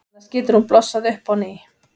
Annars getur hún blossað upp á ný.